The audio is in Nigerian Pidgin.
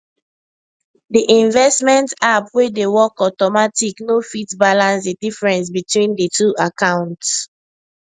the investment app wey dey work automatic no fit balance the difference between the two accounts